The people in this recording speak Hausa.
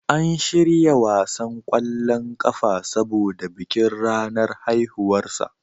An shirya wasan kwallon ƙafa saboda bikin ranar haihuwarsa.